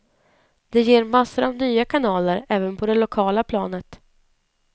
Det ger massor av nya kanaler, även på det lokala planet.